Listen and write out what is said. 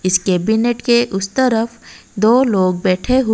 इस कैबिनेट के उम तरफ दो लोग बैठे हु--